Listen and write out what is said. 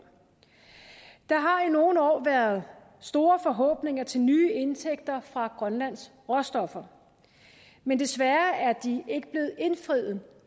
der har i nogle år været store forhåbninger til nye indtægter fra grønlands råstoffer men desværre er de ikke blevet indfriet